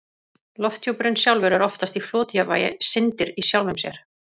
Lofthjúpurinn sjálfur er oftast í flotjafnvægi, syndir í sjálfum sér.